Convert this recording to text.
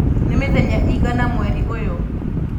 nĩ mĩthenya ĩigana mweri ũyũ?